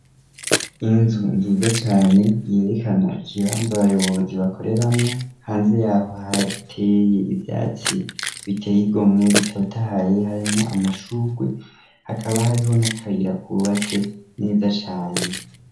Inzu nziza cane yerekana ikibanza abayobozi bakoreramo hanze yaho ahateye ivyatsi biteyigomwe bitotahaye harimo amashurwe hakaba hariho n'akayira kubatse neza cane.